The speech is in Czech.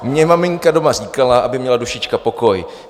Mně maminka doma říkala, aby měla dušička pokoj.